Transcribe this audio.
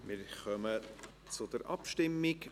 Wir kommen zur Abstimmung.